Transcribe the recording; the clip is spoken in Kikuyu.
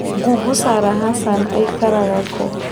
google Sarah Hassan aikaraga kũ